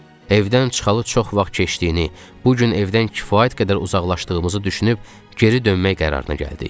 Evdən çıxalı çox vaxt keçdiyini, bu gün evdən kifayət qədər uzaqlaşdığımızı düşünüb geri dönmək qərarına gəldik.